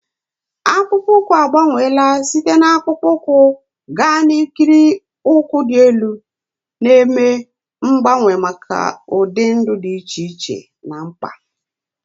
Akpụkpọ ụkwụ agbanweela site na akpụkpọ ụkwụ gaa n'ikiri ụkwụ dị elu, na-eme mgbanwe maka ụdị ndụ dị iche iche na mkpa.